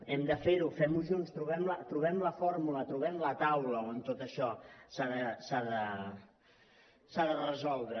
hem de fer ho fem ho junts trobem la fórmula trobem la taula on tot això s’ha de resoldre